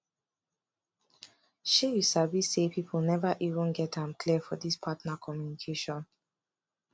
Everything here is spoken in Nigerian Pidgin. shay you sabi say people never even get am clear for this partner communication